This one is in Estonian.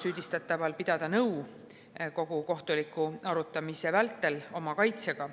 süüdistatava võimalus pidada kogu kohtuliku arutamise vältel nõu oma kaitsega.